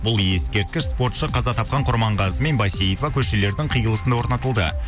бұл ескерткіш спортшы қаза тапқан құрманғазы мен бәйсейіова көшелердің қиылысында орнатылды